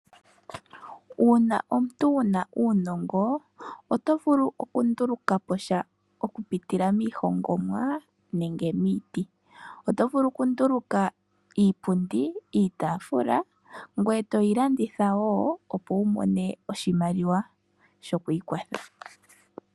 Uuna omuntu wuna uunongo oto vulu oku ndulukapo sha, oku pitila miihongomwa nenge miiti. Oto vulu oku nduluka iipundi, iitafula ngoye toyi landitha woo, opo wu mone oshimaliwa sho kwiikwatha.